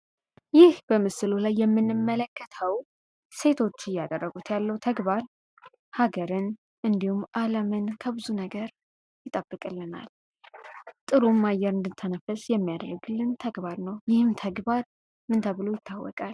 ይህ በምስሉ ላይ የምንመለከተው ሴቶች እያደረጉት ያለው ተግባር ሀገርን እንዲሁም ዓለምን ከብዙ ነገር ይጠብቅልናል ጥሩም አየር እድንተነፍስ የሚያደርግልን ተግባር ነው ። ይህም ተግባር ምን ተብሎ ይታወቃል?